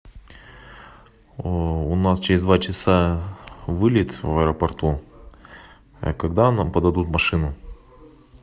у нас через два часа вылет в аэропорту когда нам подадут машину